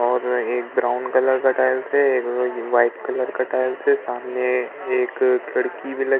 और एक brown colour का टाइल्स है एक वो जो व्हाइट कलर का टाइल्स है सामने एक खिड़की भी लगी --